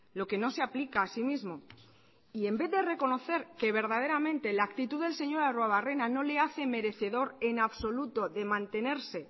lo que no se ha aplica así mismo y en vez de reconocer que verdaderamente la actitud del señor arruebarrena no le hace merecedor en absoluto de mantenerse